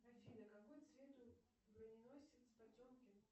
афина какой цвет у броненосец потемкин